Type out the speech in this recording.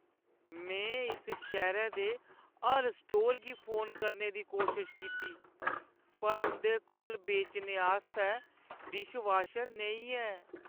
में इस शैह्‌रै दे हर स्टोर गी फोन करने दी कोशश कीती, पर उंʼदे कोल बेचने आस्तै डिशवॉशर नेईं ऐ।